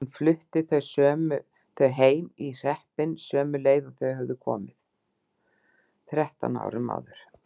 Hún flutti þau heim í hreppinn, sömu leið og þau höfðu komið þrettán árum áður.